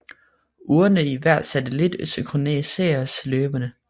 Urene i hver satellit synkroniseres løbende